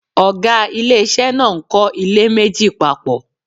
Oga ilé ìṣe náà ń kọ ilé méjì papọ